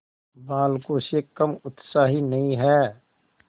बालकों से कम उत्साही नहीं है